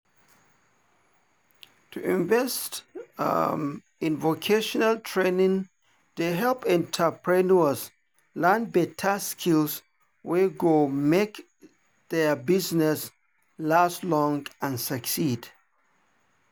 to invest in vocational training dey help entrepreneurs learn better skills wey go make their business last long and succeed.